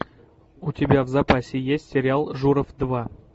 у тебя в запасе есть сериал журов два